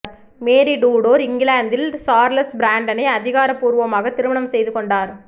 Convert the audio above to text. மேரி Tudor இங்கிலாந்தில் Charles பிராண்டனை அதிகாரப்பூர்வமாக திருமணம் செய்து கொண்டார்